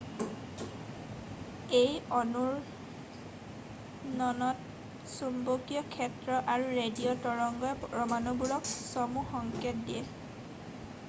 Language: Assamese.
এই অনুৰণনত চুম্বকীয় ক্ষেত্ৰ আৰু ৰেডিঅ' তৰংগই পৰমাণুবোৰক চমু সংকেত দিয়ে